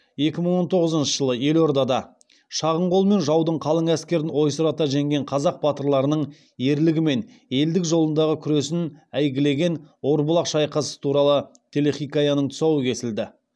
екі мың он тоғызыншы жылы елордада шағын қолмен жаудың қалың әскерін ойсырата жеңген қазақ батырларының ерлігі мен елдік жолындағы күресін әйгілеген орбұлақ шайқасы туралы телехикаяның тұсауы кесілді